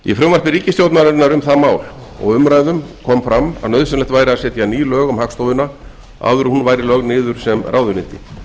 í frumvarpi ríkisstjórnarinnar um það mál og umræðum kom fram að nauðsynlegt væri að setja ný lög um hagstofuna áður en hún væri lögð niður sem ráðuneyti